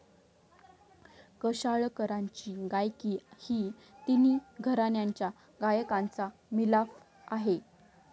कशाळकरांची गायकी ही तिन्ही घराण्यांच्या गायकाचा मिलाफ आहे.